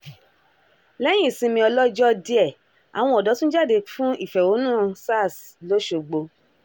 lẹ́yìn ìsinmi ọlọ́jọ́ díẹ̀ àwọn ọ̀dọ́ tún jáde fún ìfẹ̀hónúhàn sars lọ́sọ̀gbò